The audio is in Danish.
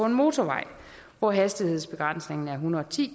en motorvej hvor hastighedsbegrænsningen er en hundrede og ti